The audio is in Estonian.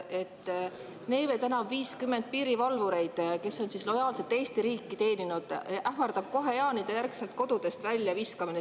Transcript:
Neeme tänav 50 piirivalvureid, kes on lojaalselt Eesti riiki teeninud, ähvardab kohe jaanijärgselt kodudest väljaviskamine.